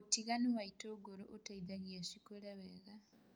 ũtiganu wa itũngũrũ ũteithagia cĩkũre wega.